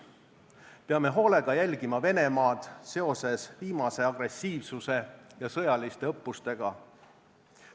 Peame hoolega jälgima Venemaad seoses viimase agressiivsuse ja sõjaliste õppustega.